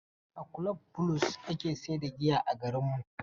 A kulob Bulus ake sayar da giya a garinmu.